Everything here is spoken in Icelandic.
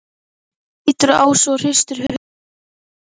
Bjössi lítur á Ásu og hristir höfuðið.